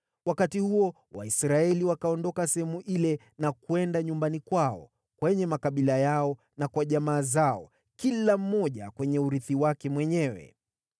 Wakati huo Waisraeli wakaondoka sehemu ile na kwenda nyumbani kwao, kwenye makabila yao na kwa jamaa zao, kila mmoja kwenye urithi wake mwenyewe.